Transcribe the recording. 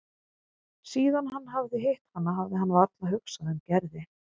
Síðan hann hafði hitt hana hafði hann varla hugsað um Gerði.